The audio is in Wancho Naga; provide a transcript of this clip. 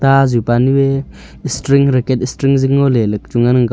aazu pa nu ae string racket string zing ngo ley ley chu ngan ang kap.